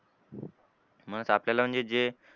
मुळात आपल्याला म्हणजे जे,